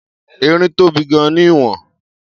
Erin tóbi gan-an ní ìwọ̀n..